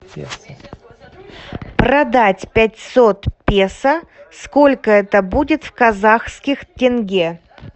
продать пятьсот песо сколько это будет в казахских тенге